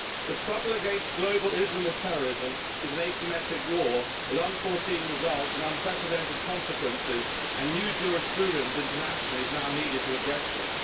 The struggle against global Islamic terrorism is an asymmetric war with unforeseen results and unprecedented consequences, and new jurisprudence internationally is now needed to address this.